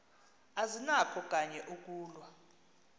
azinakho kanye ukulwa